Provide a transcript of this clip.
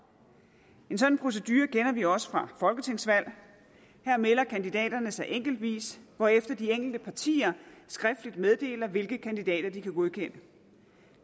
en sådan procedure kender vi også fra folketingsvalg her melder kandidaterne sig enkeltvis hvorefter de enkelte partier skriftligt meddeler hvilke kandidater de kan godkende